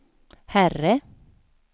herre